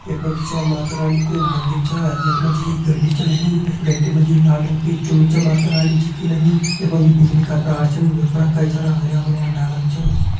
यखमा जी जो च माता रानी कु मंदिर च यखमा जी घंटी च लगीं घंटी मजी लाल रंग की चुन्नी च माता रानी जी की लगीं यखमा जी बिजली का तार छन यख पणा कई सारा हरयां-भरयां डाला बी छन।